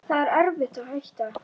Það var erfitt að hætta.